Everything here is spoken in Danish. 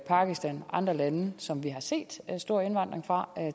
pakistan og andre lande som vi har set stor indvandring fra